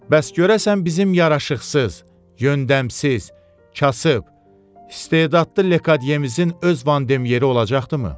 Bəs görəsən bizim yaraşıqsız, yöndəmsiz, kasıb, istedadlı Lekamyemizin öz vandemyeri olacaqdımı?